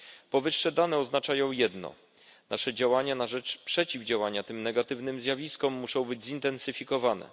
Powyższe dane oznaczają jedno nasze działania na rzecz przeciwdziałania tym negatywnym zjawiskom muszą być zintensyfikowane.